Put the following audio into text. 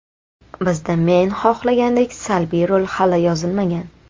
Bizda men xohlagandek salbiy rol hali yozilmagan.